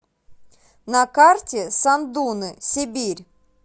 на карте сандуны сибирь